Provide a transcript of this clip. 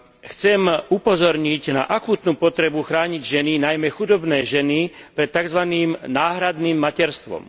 Chcem upozorniť na akútnu potrebu chrániť ženy, najmä chudobné ženy, pred takzvaným náhradným materstvom.